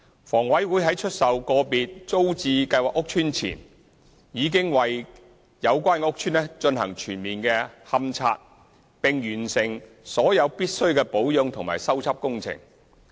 房委會在出售個別租置計劃屋邨前，已為有關屋邨進行全面勘察，並完成所有必需的保養和修葺工程。